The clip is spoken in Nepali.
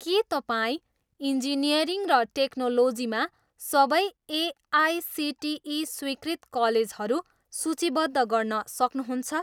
के तपाईँ इन्जिनियरिङ् र टेक्नोलोजीमा सबै एआइसिटिई स्वीकृत कलेजहरू सूचीबद्ध गर्न सक्नुहुन्छ?